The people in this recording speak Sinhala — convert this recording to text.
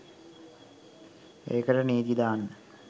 ඒකට නීතිදාන්න